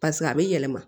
a bɛ yɛlɛma